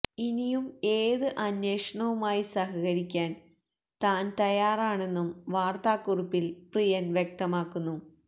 ഇനിയും ഏത് അന്വേഷണവുമായി സഹകരിക്കാന് താന് തയ്യാറാണെന്നും വാര്ത്താക്കുറിപ്പില് പ്രിയന് വ്യക്തമാക്കുന്നു